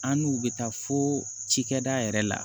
An n'u bɛ taa fo cikɛ da yɛrɛ la